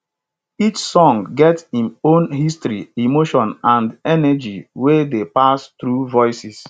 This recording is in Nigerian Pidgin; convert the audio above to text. each song get im own history emotion and energy wey dey pass through voices